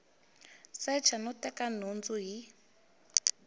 secha no teka nhundzu hi